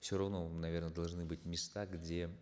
все равно наверно должны быть места где